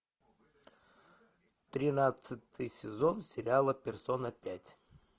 тринадцатый сезон сериала персона пять